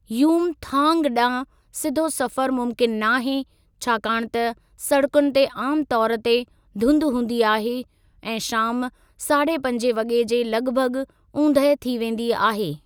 युमथांग डां॒हुं सिधो सफ़रु मुमकिन नाहे छाकाणि त सड़कुनि ते आम तौर ते धुंधु हूंदी आहे ऐं शाम साढे पंजे वगे॒ जे लग॒भग॒ ऊंदहि थी वेंदी आहे।